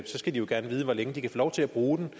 så skal de jo gerne vide hvor længe de kan få lov til at bruge den